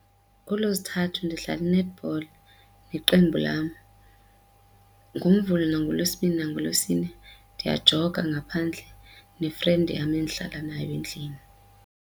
NgooLwezithathu ndidlala i-netball neqembu lam. ngoNvulo nangoLwesibini nangoLwesine ndiyajoga ngaphandle ne-friend yam endihlala nayo endlini.